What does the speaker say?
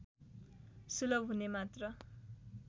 सुलभ हुने मात्र